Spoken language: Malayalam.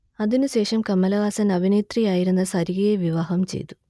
അതിനുശേഷം കമലഹാസൻ അഭിനേത്രി ആയിരുന്ന സരികയെ വിവാഹം ചെയ്തു